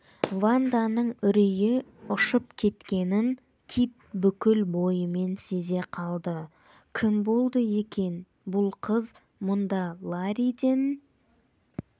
ванданың үрейі ұшып кеткенін кит бүкіл бойымен сезе қалды кім болды екен бұл қыз мұнда ларриден